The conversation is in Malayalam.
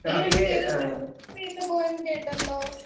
സ്പീക്കർ 1 ഈയടുത്തേതോ യാത്രയൊക്കെ പോയെന്ന് കേട്ടല്ലോ